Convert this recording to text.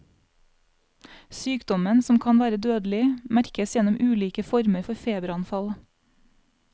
Sykdommen, som kan være dødelig, merkes gjennom ulike former for feberanfall.